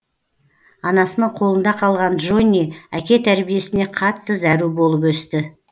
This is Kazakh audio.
анасының қолында қалған джонни әке тәрбиесіне қатты зәру болып өсті